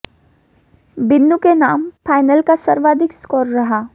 बिन्नू ने नाम फाइनल का सर्वाधिक स्कोर रहा